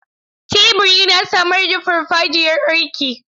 Tebur yana samar da farfajiyar aiki.